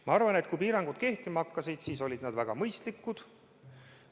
Ma arvan, et kui piirangud kehtima hakkasid, siis olid need väga mõistlikud.